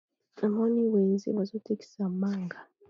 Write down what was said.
namoni na wenze bazotekisa manga.